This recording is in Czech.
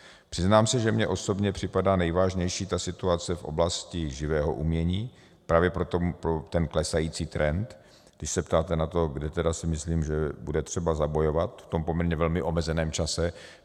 Přiznám se, že mně osobně připadá nejvážnější ta situace v oblasti živého umění, právě pro ten klesající trend, když se ptáte na to, kde tedy si myslím, že bude třeba zabojovat v tom poměrně velmi omezeném čase.